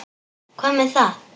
Hvað með það?